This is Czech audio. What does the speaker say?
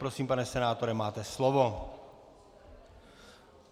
Prosím, pane senátore, máte slovo.